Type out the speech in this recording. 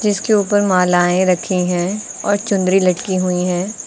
जिसके ऊपर मालाएं रखी हैं और चुंदरी लटकी हुई हैं।